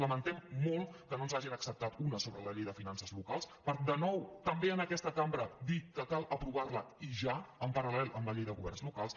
lamentem molt que no ens n’hagin acceptat una sobre la llei de finances locals per de nou també en aquesta cambra dir que cal aprovar la i ja en paral·lel a la llei de governs locals